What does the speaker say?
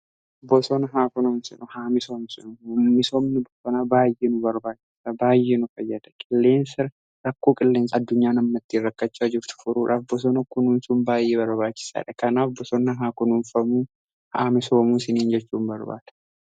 Bosona haa kunuunsinu haa misoomsinu. misoomni bosonaa baay'ee nu barbaachisa baay'ee nu fayyada .Rakkoo qilleensa addunyaa namni ittiin rakkachaa jirtu furuudhaaf bosona kunuunsun baay'ee barbaachisaadha. Kanaaf bosona haa kunuunfamuu haa misoomuu siniin jechuu nan barbaada.